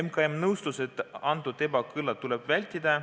MKM nõustus, et sellist ebakõla tuleb vältida.